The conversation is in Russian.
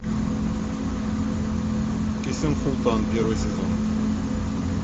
кесем султан первый сезон